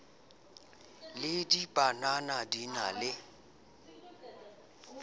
le dibanana di na le